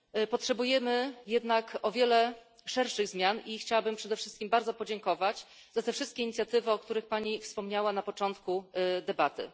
Potrzebujemy jednak o wiele szerszych zmian i chciałabym przede wszystkim bardzo podziękować za te wszystkie inicjatywy, o których Pani wspomniała na początku debaty.